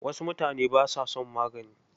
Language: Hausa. Wasu mutane ba sa son magani.